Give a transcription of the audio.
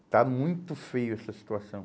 Está muito feio essa situação.